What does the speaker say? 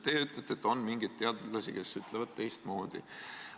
Teie ütlete, et on mingeid teadlasi, kes ütlevad teistmoodi.